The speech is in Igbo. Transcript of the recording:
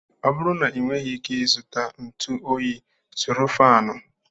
Ọ bụrụ na ị nweghị ike ị zụta ntụ Onyi, zụrụ faanụ.